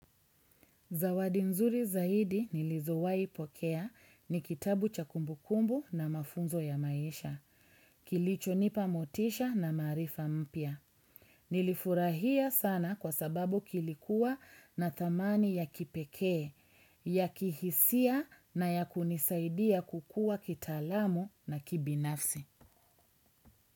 Zawadi nzuri zaidi nilizowahi pokea ni kitabu cha kumbu kumbu na mafunzo ya maisha, kilichonipa motisha na maarifa mpya. Nilifurahia sana kwa sababu kilikuwa na thamani ya kipekee, ya kihisia na ya kunisaidia kukua kitaalamu na kibinafsi.